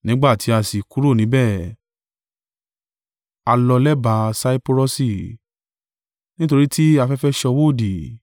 Nígbà tí a sì kúrò níbẹ̀, a lọ lẹ́bàá Saipurọsi, nítorí tí afẹ́fẹ́ ṣọwọ́ òdì.